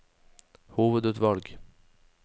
hovedutvalg